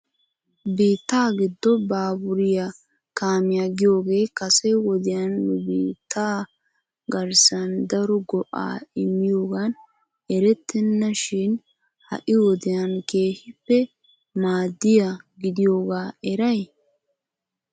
Biitta giddo baaburiya kaamiya giyooge kase wodiyan nu biitta garssan daro go''a immiyoogan eretena shin ha'i wodiyaan keehippe maaddiyaa gidiyooga eray?